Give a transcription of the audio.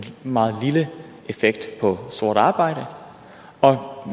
meget lille effekt på sort arbejde og